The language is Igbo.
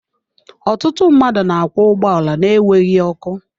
Ọtụtụ mmadụ na-akwọ ụgbọala na-enweghị ọkụ.